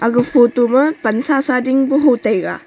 aga photo ma pan sa sa ding pu ho taiga.